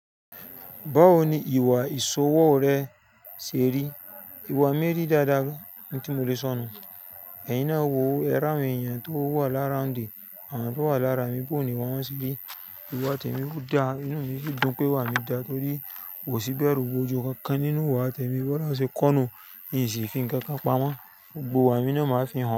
Báwo ni ìwà ìṣòwò rẹ ṣe rí? Ìwà mi rí dáadáa ni tí mo lè sọ̀ nú. Ẹ̀yin náà wò ó, ẹ ri awon èeyàn tó wà lá roundi àmọ́ tó wà lára mi bóni wọ́n máa ṣí bí. Ìwà tẹ̀mi dá, inú mi sì dùn pé wà mí dá torí wọ̀ sí bẹ̀rù ìbojú kankan nínú ìwà tẹ̀mi. Bọ́lohun ṣe ko nu, ìyì sì fi ńkan kan pamọ́. Gbogbo ìwà mi náà máa fi hàn.